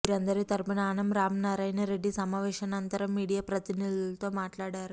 వీరందరి తరఫున ఆనం రామనారాయణ రెడ్డి సమావేశానంతరం మీడియా ప్రతినిధులతో మాట్లాడారు